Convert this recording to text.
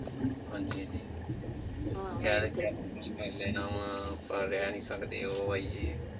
ਹਾਂਜੀ ਹਾਂਜੀ ਕਹਿ ਦਿੰਦੇ ਆ ਕੁੱਛ ਕਰ ਲੈਣਾ ਵਾਂ। ਆਪਾਂ ਰਹਿ ਨਈਂ ਸਕਦੇ ਉਹ ਵਾ ਜਿਹ ਵਾ।